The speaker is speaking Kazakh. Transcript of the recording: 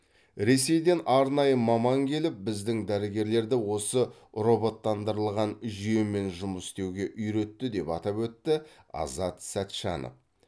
ресейден арнайы маман келіп біздің дәрігерлерді осы роботтандырылған жүйемен жұмыс істеуге үйретті деп атап өтті азат сәтжанов